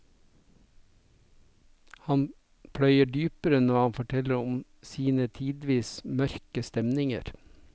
Han pløyer dypere når han forteller om sine tidvis mørke stemninger.